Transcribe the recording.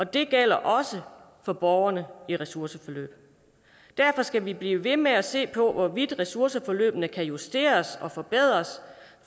det gælder også for borgere i ressourceforløb derfor skal vi blive ved med at se på hvorvidt ressourceforløbene kan justeres og forbedres